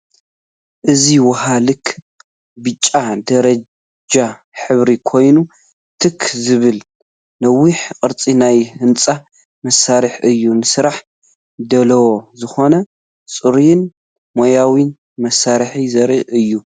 እዚ ውሃ ልክ ብጫ ደረጃ ሕብሩ ኮይኑ ትኽ ዝበለ ነዊሕ ቅርጺ ናይ ህንፃ መሳርሒ እዩ፡፡ ንስራሕ ድሉው ዝኾነ ጽሩይን ሞያውን መሳርሒ ዘርኢ እዩ።